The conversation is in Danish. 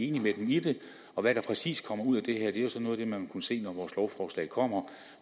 enig med dem i det og hvad der præcis kommer ud af det her er jo så noget af det man vil kunne se når vores lovforslag kommer